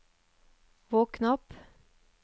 våkn opp